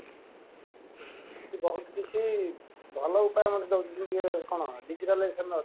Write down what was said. ଯଦି ବହୁତ କିଛି ଭଲ ଉପାୟ ମଧ୍ୟ କଣ digitalization ର ଅଛି